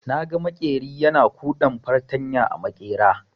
Naga maƙeri yana kuɗan fartanya a maƙera.